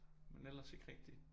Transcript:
Men ellers ikke rigtig